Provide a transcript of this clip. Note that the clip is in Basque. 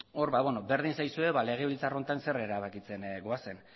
berdin zaizue legebiltzar honetan zer erabakitzen goazen